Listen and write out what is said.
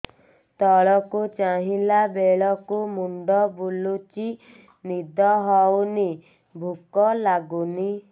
ତଳକୁ ଚାହିଁଲା ବେଳକୁ ମୁଣ୍ଡ ବୁଲୁଚି ନିଦ ହଉନି ଭୁକ ଲାଗୁନି